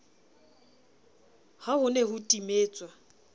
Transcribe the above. ha ho ne ho timetswa